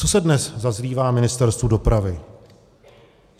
Co se dnes zazlívá Ministerstvu dopravy?